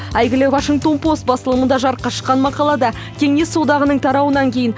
әйгілі вашингтон пост басылымында жарыққа шыққан мақалада кеңес одағының тарауынан кейін